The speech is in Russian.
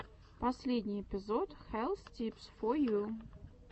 последний эпизод хэлс типс фо ю